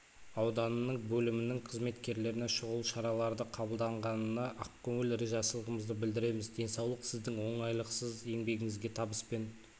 ауданының бөлімінің қызметкерлеріне шұғыл шараларды қабылданғанына ақкөніл ризашылығымызды білдіреміз денсаулық сіздің оңайлықсыз еңбегіңізге табыс пен